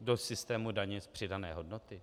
do systému daně z přidané hodnoty?